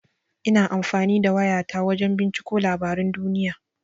Ina amfani da waya ta wajan binciko labaran duniya.